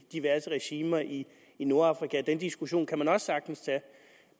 diverse regimer i i nordafrika den diskussion kan man også sagtens tage